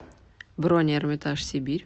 бронь эрмитаж сибирь